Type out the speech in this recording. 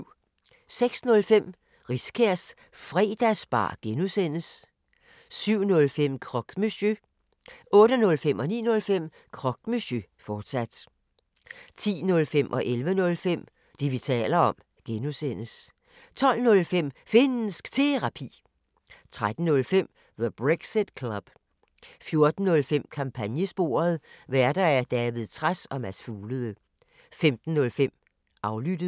06:05: Riskærs Fredagsbar (G) 07:05: Croque Monsieur 08:05: Croque Monsieur, fortsat 09:05: Croque Monsieur, fortsat 10:05: Det, vi taler om (G) 11:05: Det, vi taler om (G) 12:05: Finnsk Terapi 13:05: The Brexit Club 14:05: Kampagnesporet: Værter: David Trads og Mads Fuglede 15:05: Aflyttet